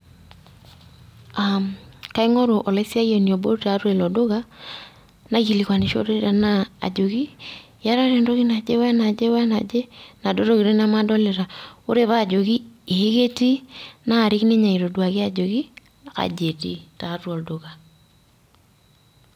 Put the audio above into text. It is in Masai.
J